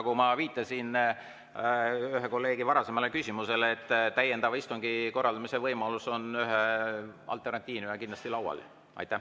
Nagu ma viitasin ühe kolleegi varasemale küsimusele, täiendava istungi korraldamise võimalus on ühe alternatiivina kindlasti laual.